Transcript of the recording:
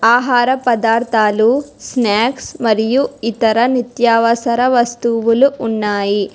ఆహార పదార్థాలు స్నాక్స్ మరియు ఇతర నిత్యావసర వస్తువులు ఉన్నాయి.